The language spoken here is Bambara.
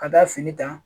Ka taa fini ta